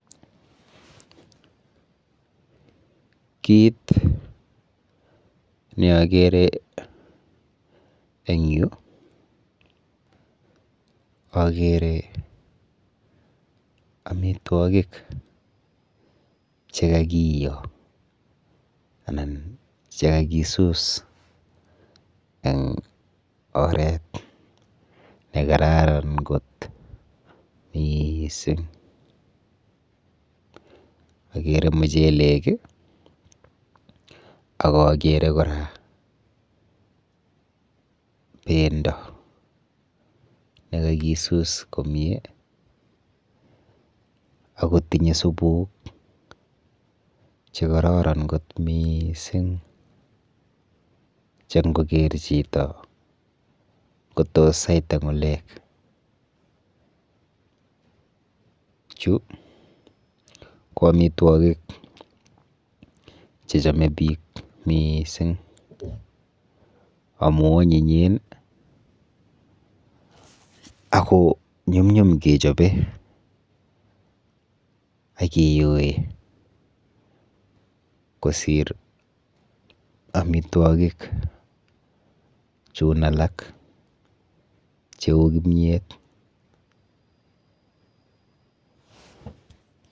Kit neakere eng yu akere amitwokik chekakiyo anan chekakisus eng oret nekararan kot miising. Akere muchelek akakere kora bendo nekakisus komie akotinye supuk chekororon kot miising che nkoker chito kotos saita ng'ulek. Chu ko amitwokik chechome biik miising amu onyinyen akonyumnyum kechope akeyoe kosir amitwokik chun alak cheu kimiet.